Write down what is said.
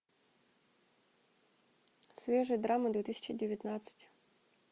свежие драмы две тысячи девятнадцать